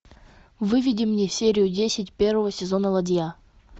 выведи мне серию десять первого сезона ладья